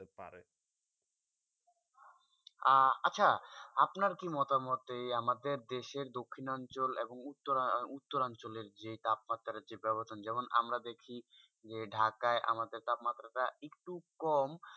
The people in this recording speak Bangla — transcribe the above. আর আচ্ছা আপনার কি মতামতে আমাদের অঞ্চলে দক্ষিণ অঞ্চলে এবং উত্তর অঞ্চলে যে তাপমাত্রা আছে যেমন আমরা দেখি যে ঢাকায় আমাদের তাপমাত্রা তা একটু কম